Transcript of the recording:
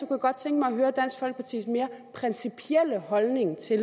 jeg godt tænke mig at høre dansk folkepartis mere principielle holdning til